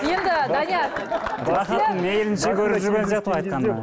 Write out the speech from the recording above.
енді данияр рахатын мейілінше көріп жүрген сияқты ғой